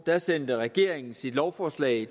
sendte regeringen sit lovforslag i